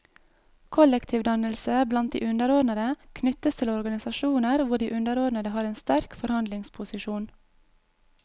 Kollektivdannelse blant de underordnede knyttes til organisasjoner hvor de underordnede har en sterk forhandlingsposisjon.